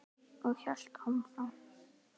Og hélt áfram